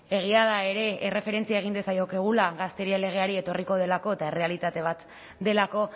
egia da ere erreferentzia egin diezaiokegula gazteria legeari etorriko delako eta errealitate bat delako